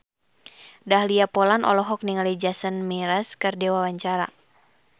Dahlia Poland olohok ningali Jason Mraz keur diwawancara